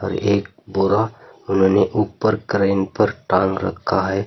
एक बोरा मैंने ऊपर क्रेन पर टांग रखा है।